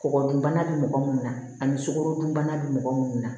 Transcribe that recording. Kɔgɔ dun bana be mɔgɔ munnu na ani sukarodunbana be mɔgɔ munnu na